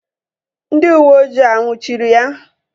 Ndị uweojii a nnwuchiri ya?